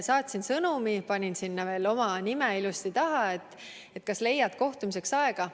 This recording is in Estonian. Saatsin sõnumi, panin sinna veel oma nime ilusti taha, ja küsisin, et kas leiad kohtumiseks aega.